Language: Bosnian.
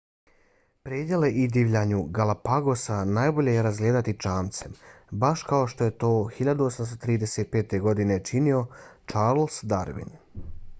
predjele i divljinu galapagosa najbolje je razgledati čamcem baš kao što je to 1835. godine činio charles darwin